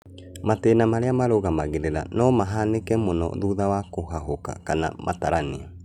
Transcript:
Matĩna marĩa marũmagĩrĩra no mahanĩke mũno thutha wa kũhahũka kana matarania